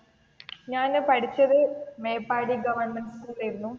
ഞാൻ പഠിച്ചത് മേപ്പാടി ഗവർമെന്റ് സ്കൂളിൽ ആയിരുന്നു.